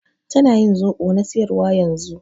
Tana ƴin zobo na siƴarwa ƴanzun.